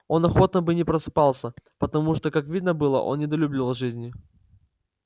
он охотно бы не просыпался потому что как видно было он недолюбливал жизни